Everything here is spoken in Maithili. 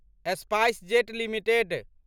SpiceJet limited